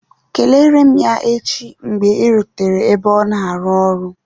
Kelere m ya echi mgbe ị rutere n'ebe ọ na-arụ ọrụ